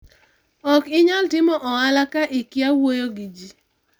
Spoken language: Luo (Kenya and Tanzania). ok inyal timo ohala ka ikia wuoyo gi ji